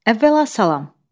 Əvvəla salam.